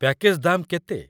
Package ଦାମ୍ କେତେ?